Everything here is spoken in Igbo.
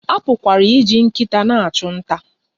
A pụkwara iji nkịta na-achụ nta.